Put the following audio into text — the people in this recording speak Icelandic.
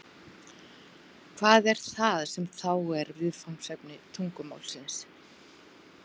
hvað er það sem þá er viðfangsefni tungumálsins